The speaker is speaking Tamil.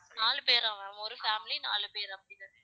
நாலு பேரா ஒரு family நாலு பேரா?